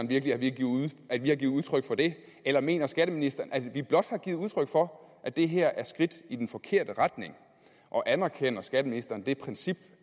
virkelig at vi har givet udtryk for det eller mener skatteministeren at vi blot har givet udtryk for at det her er et skridt i den forkerte retning og anerkender skatteministeren det princip